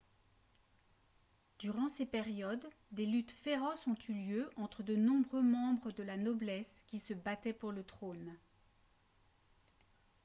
durant ces périodes des luttes féroces ont eu lieu entre de nombreux membres de la noblesse qui se battaient pour le trône